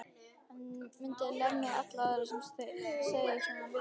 Hann myndi lemja alla aðra sem segðu svona við hann.